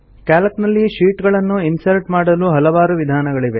Calc ನಲ್ಲಿ sheet ಗಳನ್ನು insert ಮಾಡಲು ಹಲವಾರು ವಿಧಾನಗಳಿವೆ